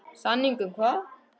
Samning um hvað?